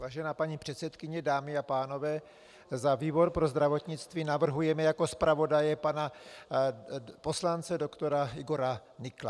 Vážená paní předsedkyně, dámy a pánové, za výbor pro zdravotnictví navrhujeme jako zpravodaje pana poslance doktora Igora Nykla.